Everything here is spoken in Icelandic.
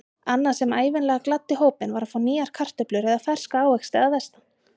Annað sem ævinlega gladdi hópinn var að fá nýjar kartöflur eða ferska ávexti að vestan.